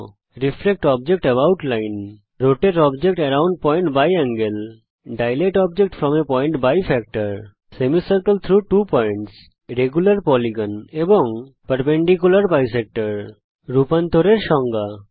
reflect object about line rotate object around point by angle dilate object from a point by factor semicircle through two points regular polygon and perpendicular bisector রূপান্তর এর সংজ্ঞা